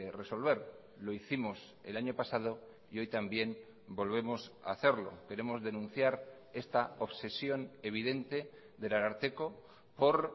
resolver lo hicimos el año pasado y hoy también volvemos a hacerlo queremos denunciar esta obsesión evidente del ararteko por